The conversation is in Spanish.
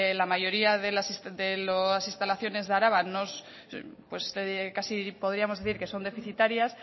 los la mayoría de las instalaciones de araba casi podríamos decir que son deficitarias